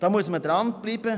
Man muss hier dranbleiben.